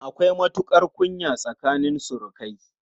Akwai matuƙar kunya tsakanin surukai.